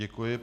Děkuji.